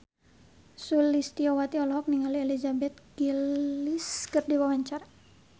Sulistyowati olohok ningali Elizabeth Gillies keur diwawancara